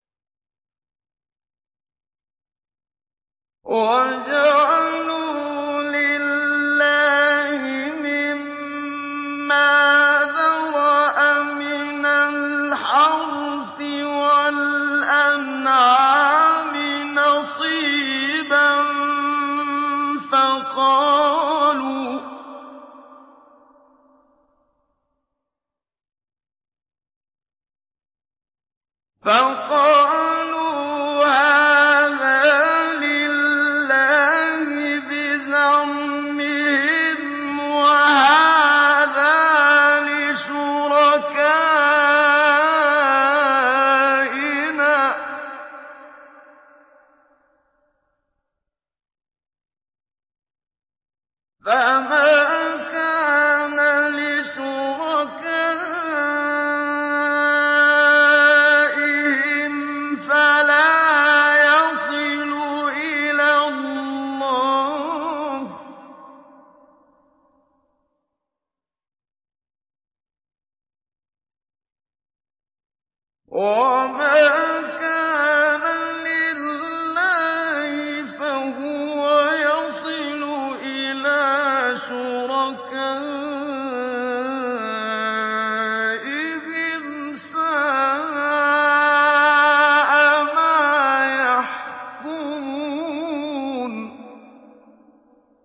وَجَعَلُوا لِلَّهِ مِمَّا ذَرَأَ مِنَ الْحَرْثِ وَالْأَنْعَامِ نَصِيبًا فَقَالُوا هَٰذَا لِلَّهِ بِزَعْمِهِمْ وَهَٰذَا لِشُرَكَائِنَا ۖ فَمَا كَانَ لِشُرَكَائِهِمْ فَلَا يَصِلُ إِلَى اللَّهِ ۖ وَمَا كَانَ لِلَّهِ فَهُوَ يَصِلُ إِلَىٰ شُرَكَائِهِمْ ۗ سَاءَ مَا يَحْكُمُونَ